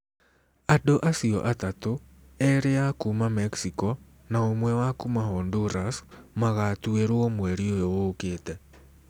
Andũ acio atatũ, erĩ a kuuma Mexico na ũmwe wa kuuma Honduras, magatuĩrũo mweri ũyũ ũkĩte.